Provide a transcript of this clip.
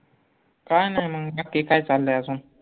काय नाय मंग नक्की काय चाललंय अजून?